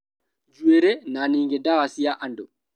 Njuĩrĩ, na ningĩ ndwara cia andũ